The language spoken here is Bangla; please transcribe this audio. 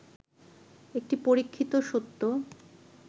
একটি পরীক্ষিত সত্য